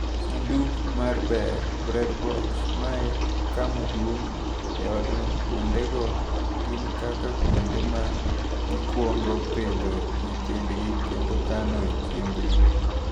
Sanduk ma ber (Bread Box) Ma e kama duong' e odno kuondego gin kaka kuonde ma gikwongo pidhoe nyithindgi kendo kano chiembgi.